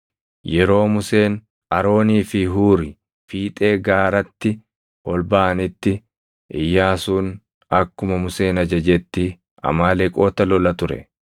Yeroo Museen, Aroonii fi Huuri fiixee gaaratti ol baʼanitti, Iyyaasuun akkuma Museen ajajetti Amaaleqoota lola ture.